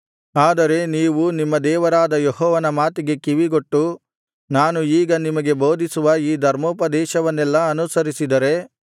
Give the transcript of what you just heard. ಆದರೆ ನೀವು ನಿಮ್ಮ ದೇವರಾದ ಯೆಹೋವನ ಮಾತಿಗೆ ಕಿವಿಗೊಟ್ಟು ನಾನು ಈಗ ನಿಮಗೆ ಬೋಧಿಸುವ ಈ ಧರ್ಮೋಪದೇಶವನ್ನೆಲ್ಲಾ ಅನುಸರಿಸಿದರೆ